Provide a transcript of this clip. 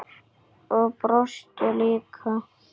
Og brosti líka.